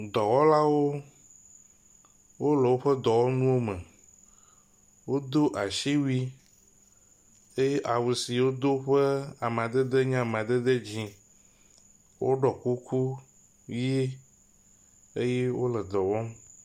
Dɔwɔlawo wo le woƒe dɔwɔnuwo me. Wodo asiwui eye awu si wodo ƒe amadede nye amadede dzi woɖɔ kuku ʋi eye wo le dɔ wɔm.